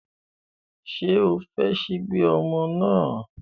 Ṣé o fọ ṣíbí ọmọ náà?